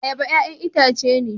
Ayaba 'ya'yan itace ne